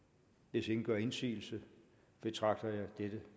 hvis ingen gør indsigelse betragter jeg det